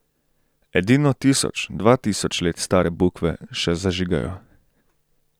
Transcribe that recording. Edino tisoč, dva tisoč let stare bukve še zažigajo.